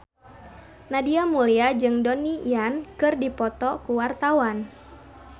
Nadia Mulya jeung Donnie Yan keur dipoto ku wartawan